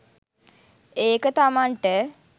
ඒක තමන්ට